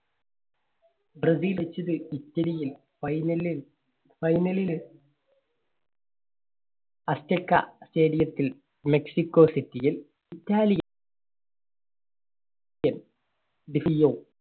Brazil ഇറ്റലിയും final ല് final ല് അഷ്ഠക്ക stadium ത്തിൽ മെക്സിക്കോ സിറ്റിയും